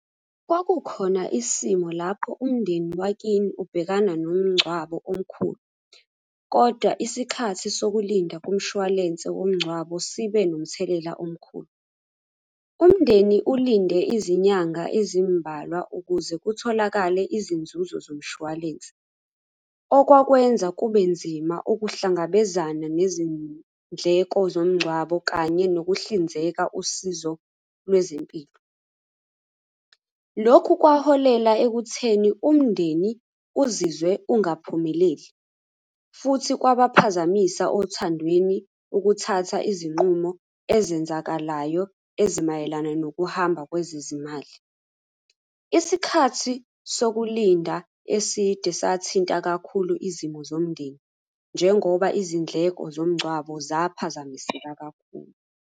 Kwakukhona isimo lapho umndeni wakini ubhekana nomngcwabo omkhulu, kodwa isikhathi sokulinda kumshwalense womngcwabo sibe nomthelela omkhulu. Umndeni ulinde izinyanga ezimbalwa ukuze kutholakale izinzuzo zomshwalense, okwakwenza kube nzima ukuhlangabezana nezindleko zomngcwabo kanye nokuhlinzeka usizo lwezempilo. Lokhu kwaholela ekutheni umndeni uzizwe ungaphumeleli, futhi kwabaphazamisa othandweni ukuthatha izinqumo, ezenzakalayo, ezimayelana nokuhamba kwezezimali. Isikhathi sokulinda eside sathinta kakhulu izimo zomndeni, njengoba izindleko zomngcwabo zaphazamiseka kakhulu.